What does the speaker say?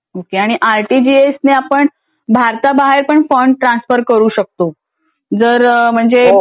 हा आरटीजीएस ने आपण भारताबाहेर पण फंड ट्रान्सफर करू शकतो जर म्हणजे